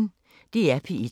DR P1